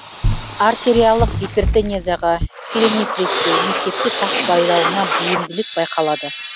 артериалық гипертенезияға перинефритке несепте тас байлануына бейімділік байқалады